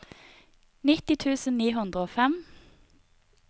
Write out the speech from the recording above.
nitti tusen ni hundre og fem